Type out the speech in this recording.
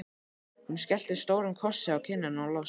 Hún skellti stórum kossi á kinnina á Lása.